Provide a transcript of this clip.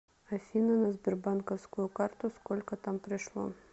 афина на сбербанковскую карту сколько там пришло